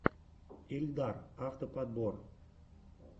ильдар авто подбор